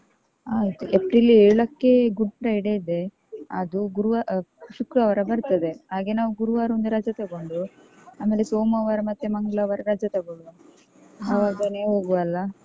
ಆಯ್ತು April ಏಳಕ್ಕೆ Good Friday ಇದೆ ಅದು ಗುರುವ~ ಶುಕ್ರವಾರ ಬರ್ತದೆ ಹಾಗೆ ನಾವು ಗುರುವಾರ ಒಂದು ರಜಾ ತಗೊಂಡು ಆಮೇಲೆ ಸೋಮವಾರ ಮತ್ತೆ ಮಂಗಳವಾರ ರಜಾ ತೊಗೊಳುವ. ಹೋಗುವ ಅಲ್ಲ.